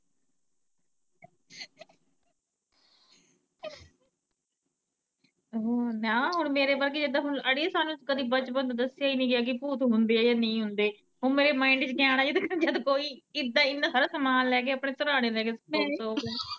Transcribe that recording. ਹੁਂ ਨਾ ਹੁਣ ਮੇਰੇ ਵਰਗੀ, ਜਿਦਾ ਹੁਣ ਅੜੀ ਸਾਨੂੰ ਕਦੀ ਬਚਪਨ ਤੋਂ ਦੱਸਿਆ ਹੀ ਨੀ ਗਿਆ ਕਿ ਭੂਤ ਹੁੰਦੇ ਆ ਜਾਂ ਨਹੀਂ ਹੁੰਦੇ, ਹੁਣ ਮੇਰੇ ਮਾਈਂਡ ਚ ਤ ਆਣਾ ਹੀ ਆ ਜਦ ਕੋਈ ਇੰਨਾ ਸਾਰਾ ਸਮਾਨ ਲੈ ਕੇ ਆਪਣੇ ਸਰਾਣੇ ਲੈ ਕੇ ਸੁੱਤਾ, ਸੁੱਤਾ ਹੋਵੇ।